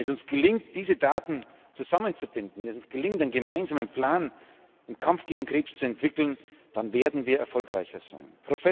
Wenn es uns gelingt, diese Daten zusammenzubinden, wenn uns gelingt, einen gemeinsamen Plan im Kampf gegen Krebs zu entwickeln, dann werden wir erfolgreicher sein.